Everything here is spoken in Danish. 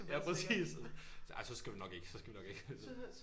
Ja præcis ja så skal du nok ikke så skal vi nok ikke